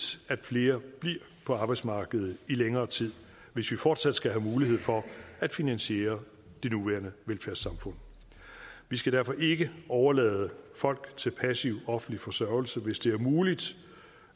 at flere bliver på arbejdsmarkedet i længere tid hvis vi fortsat skal have mulighed for at finansiere det nuværende velfærdssamfund vi skal derfor ikke overlade folk til passiv offentlig forsørgelse hvis det er muligt